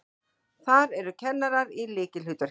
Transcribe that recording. Þar eru kennarar í lykilhlutverki.